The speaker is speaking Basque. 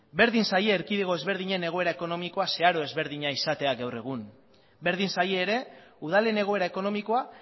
berdin zaie erkide ezberdinen egoera ekonomikoa zeharo ezberdina izatea gaur egun berdin zaie ere udalen egoera ekonomikoa